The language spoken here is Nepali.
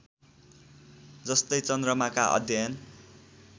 जस्तै चन्द्रमाका अध्ययन